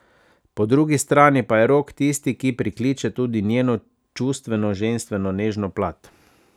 Po drugi strani pa je Rok tisti, ki prikliče tudi njeno čustveno, ženstveno, nežno plat.